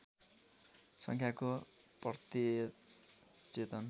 सङ्ख्याको प्रत्यय चेतन